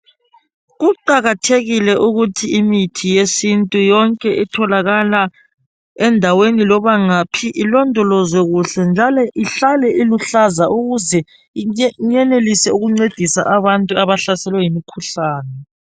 Kuqakathekile ukuthi imithi yesintu yonke etholakala endaweni loba ngaphi ilondolwezwe kuhle njalo ihlale iluhlaza ukuze iyenelise ukuncedisa abantu abahlaselwe yimikhuhlane.